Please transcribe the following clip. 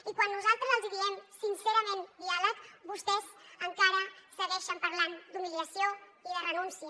i quan nosaltres els diem sincerament diàleg vostès encara segueixen parlant d’humiliació i de renúncia